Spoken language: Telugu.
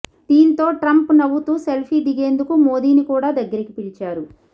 దీంతో ట్రంప్ నవ్వుతూ సెల్ఫీ దిగేందుకు మోదీని కూడా దగ్గరికి పిలిచారు